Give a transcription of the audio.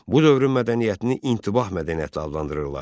Bu dövrün mədəniyyətini intibah mədəniyyəti adlandırırlar.